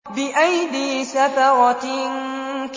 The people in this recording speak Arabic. بِأَيْدِي سَفَرَةٍ